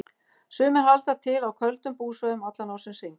Sumir halda til á köldum búsvæðum allan ársins hring.